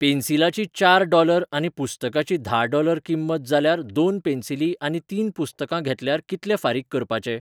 पेन्सिलाची चार डॉलर आनी पुस्तकाची धा डॉलर किंमत जाल्यार दोन पेन्सिली आनी तीन पुस्तकां घेतल्यार कितले फारीक करपाचे ?